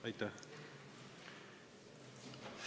Aitäh!